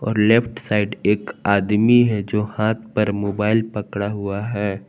और left side एक आदमी है जो हाथ पर मोबाइल पकड़ा हुआ है।